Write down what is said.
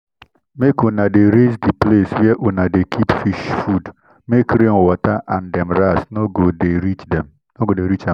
mak una dey raise the place where una dey keep fish food make rain water and dem rats no go dey reach am.